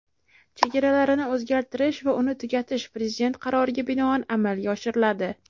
chegaralarini o‘zgartirish va uni tugatish Prezident qaroriga binoan amalga oshiriladi.